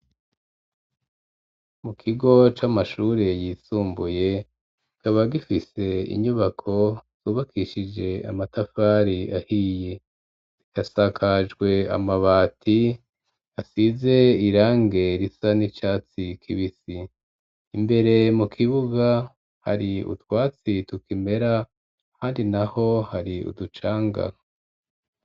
Mu kigo c'amashure yisumbuye, kikaba gifise inyubako zubakishije amatafari ahiye, asakajwe amabati asize irangi risa n'icatsi kibisi, imbere mu kibuga hari utwatsi tukimera handi naho hari uducanga.